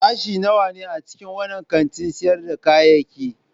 Sashe nawa ne a cikin wannan kantin sayar da kayayyaki?